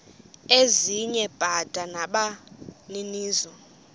ezinye bada nabaninizo